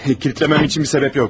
Kilidləmək üçün bir səbəbim yoxdur.